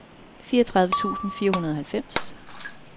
fireogtredive tusind fire hundrede og halvfems